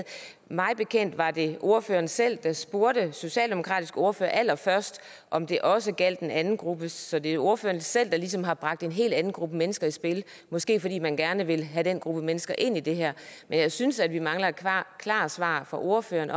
mig bekendt var det ordføreren selv der spurgte den socialdemokratiske ordfører allerførst om det også gjaldt den anden gruppe så det er ordføreren selv der ligesom har bragt en helt anden gruppe mennesker i spil måske fordi man gerne vil have den gruppe mennesker ind i det her men jeg synes at vi mangler et klart svar fra ordføreren